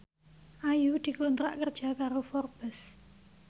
Ayu dikontrak kerja karo Forbes